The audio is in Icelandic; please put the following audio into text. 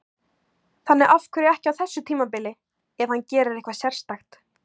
Þannig að af hverju ekki á þessu tímabili, ef hann gerir eitthvað sérstakt?